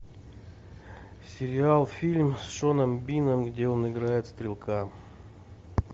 сериал фильм с шоном бином где он играет стрелка